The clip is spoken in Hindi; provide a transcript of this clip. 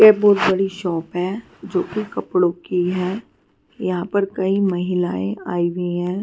ये बहुत बड़ी शॉप है जो कि कपड़ों की है यहां पर कई महिलाएं आई हुई है.